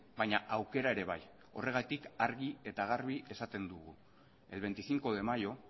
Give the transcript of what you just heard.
baina aukera ere bai horregatik argi eta garbi esaten dugu el veinticinco de mayo